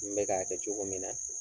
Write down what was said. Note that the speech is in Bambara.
N bɛ k'a kɛ cogo min na